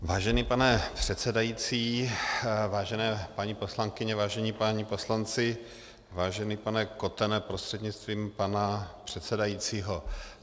Vážený pane předsedající, vážené paní poslankyně, vážení páni poslanci, vážený pane Kotene prostřednictvím pane předsedajícího.